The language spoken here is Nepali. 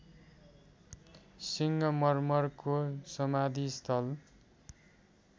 सिङ्गमर्मरको समाधिस्थल